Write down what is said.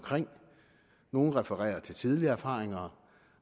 nogle refererer til tidligere erfaringer